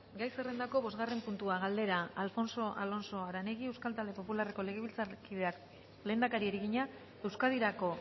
gai zerrendako bosgarren puntua galdera alfonso alonso aranegui euskal talde popularreko legebiltzarkideak lehendakariari egina euskadirako